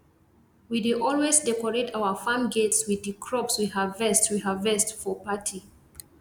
we dey always decorate our farm gates with di crops we harvest we harvest for party